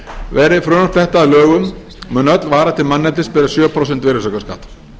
verði frumvarp þetta að lögum mun öll vara til manneldis bera sjö prósenta virðisaukaskatt